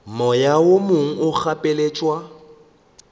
moya o mongwe o gapeletšwa